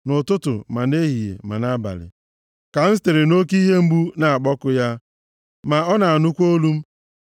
Nʼụtụtụ, ma nʼehihie, ma nʼabalị, ka m sitere nʼoke ihe mgbu, na-akpọku ya ma ọ na-anụkwa olu m.